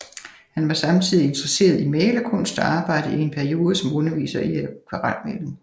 Han var samtidig interesseret i malerkunst og arbejdede i en periode som underviser i akvarelmaling